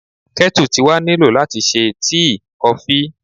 Kettle ti wa ni lo lati ṣe tii, kofi